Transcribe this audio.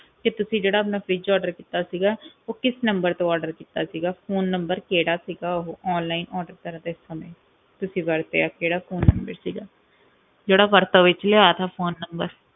ਕਿ ਤੁਸੀਂ ਜਿਹੜਾ ਆਪਣਾ fridge order ਕੀਤਾ ਸੀਗਾ ਉਹ ਕਿਸ number ਤੋਂ order ਕੀਤਾ ਸੀਗਾ phone number ਕਿਹੜਾ ਸੀਗਾ ਉਹ online order ਕਰਦੇ ਸਮੇਂ, ਤੁਸੀਂ ਵਰਤਿਆ ਕਿਹੜਾਂ phone number ਸੀਗਾ, ਜਿਹੜਾ ਵਰਤੋਂ ਵਿੱਚ ਲਿਆਇਆ ਸੀ phone number